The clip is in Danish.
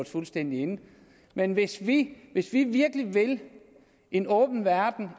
fuldstændig inde men hvis vi hvis vi virkelig vil en åben verden